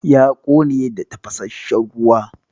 Ya ƙone da tafasasshen ruwa.